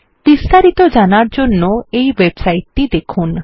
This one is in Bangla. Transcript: বিস্তারিত জানার জন্য এই ওয়েবসাইট টি দেখুন